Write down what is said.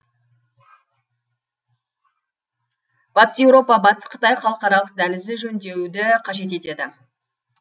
батыс еуропа батыс қытай халықаралық дәлізі жөндеуді қажет етеді